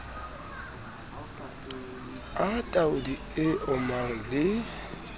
a tauli e omang le